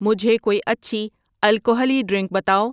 مجھے کوئی اچھی الکحلی ڈرنک بتاؤ